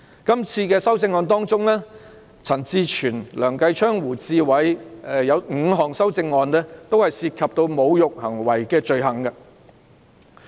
在這次的修正案中，陳志全議員、梁繼昌議員和胡志偉議員共有5項修正案涉及侮辱行為的罪行。